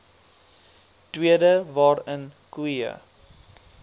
tweede waarin koeie